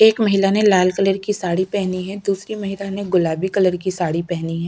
एक महिला ने लाल कलर साड़ी पहनी है दूसरी महिला ने गुलाबी कलर की साड़ी पहनी हैं।